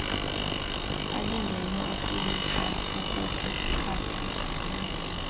alingene ukoyisa okokuxhathisa